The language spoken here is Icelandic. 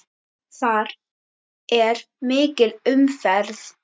Þar er mikil umferð.